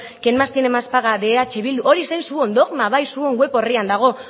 quien más tiene más de eh bildu hori zen zuen dogma bai zuen web orrian dago